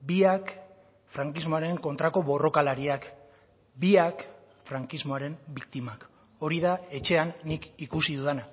biak frankismoaren kontrako borrokalariak biak frankismoaren biktimak hori da etxean nik ikusi dudana